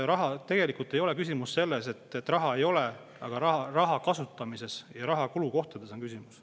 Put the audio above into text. Tegelikult ei ole küsimus selles, et raha ei ole, vaid raha kasutamises ja kulukohtades on küsimus.